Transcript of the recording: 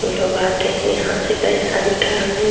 लोग आते हैं यहाँ से पैसा निकालने --